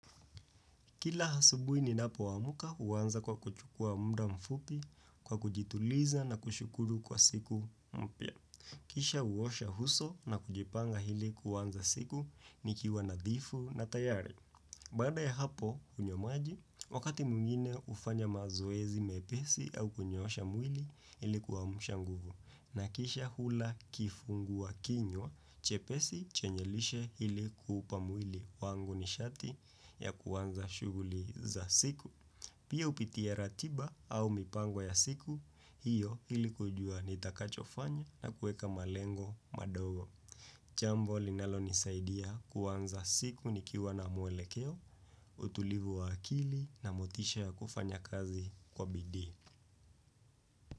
Kila asubui ninapo amka huanza kwa kuchukua muda mfupi kwa kujituliza na kushukuru kwa siku mpya. Kisha huosha uso na kujipanga ili kuanza siku nikiwa nadhifu na tayari. Baada ya hapo hunywa maji, wakati mwingine hufanya mazoezi mepesi au kunyoosha mwili ili kuamsha nguvu. Na kisha hula kifungua kinywa, chepesi chenye lishe ili kuupa mwili wangu nishati ya kuanza shughuli za siku. Pia upitia ratiba au mipango ya siku, hiyo ili kujua nitakachofanya na kueka malengo madogo. Jambo, linalonisaidia kuanza siku nikiwa na muelekeo, utulivu wa akili na motisha ya kufanya kazi kwa bidii.